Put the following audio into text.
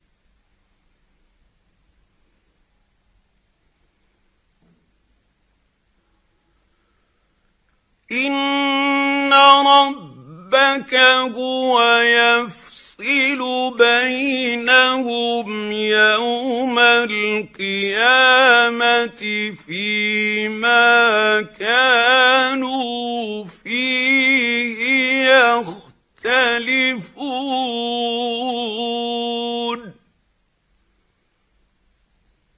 إِنَّ رَبَّكَ هُوَ يَفْصِلُ بَيْنَهُمْ يَوْمَ الْقِيَامَةِ فِيمَا كَانُوا فِيهِ يَخْتَلِفُونَ